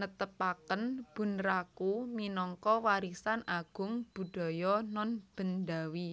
netepaken bunraku minangka Warisan Agung Budaya Nonbendawi